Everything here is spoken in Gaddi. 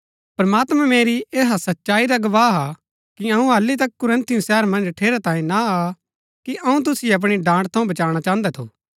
प्रमात्मां मेरी ऐहा सच्चाई रा गवाह हा कि अऊँ हालि तक कुरिन्थुस शहर मन्ज ठेरैतांये ना आ कि अऊँ तुसिओ अपणी डांट थऊँ बचाणा चाहन्दा थु